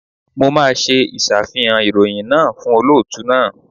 Mo máa ṣe ìṣàfihàn ìròyìn náà fún olóòtú náà.